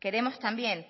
queremos también